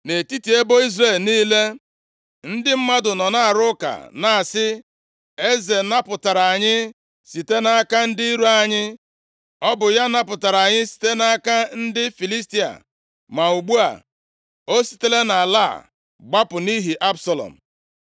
Nʼetiti ebo Izrel niile, ndị mmadụ nọ na-arụ ụka na-asị, “Eze napụtara anyị site nʼaka ndị iro anyị. Ọ bụ ya napụtara anyị site nʼaka ndị Filistia. Ma ugbu a, o sitela nʼala a gbapụ nʼihi Absalọm.”